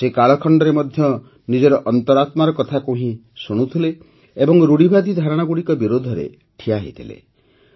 ସେ କାଳଖଣ୍ଡରେ ମଧ୍ୟ ସେ ନିଜର ଅନ୍ତରାତ୍ମାର କଥାକୁ ହିଁ ଶୁଣୁଥିଲେ ଏବଂ ରୂଢ଼ିବାଦୀ ଧାରଣାଗୁଡ଼ିକର ବିରୋଧରେ ଠିଆହୋଇଥିଲେ